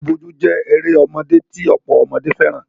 Bojúbojú jé erémodé ti ọ̀pọ̀ ọmọdé fẹ́ràn.